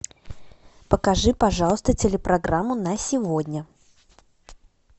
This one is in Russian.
покажи пожалуйста телепрограмму на сегодня